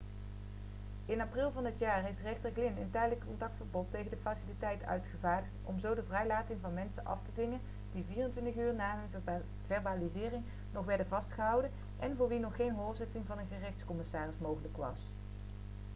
in april van dit jaar heeft rechter glynn een tijdelijk contactverbod tegen de faciliteit uitgevaardigd om zo de vrijlating van mensen af te dwingen die 24 uur na hun verbalisering nog werden vastgehouden en voor wie nog geen hoorzitting van een gerechtscommissaris mogelijk was